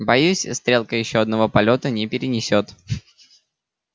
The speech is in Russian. боюсь стрелка ещё одного полёта не перенесёт